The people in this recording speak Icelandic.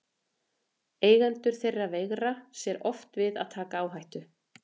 Eigendur þeirra veigra sér oft við að taka áhættu.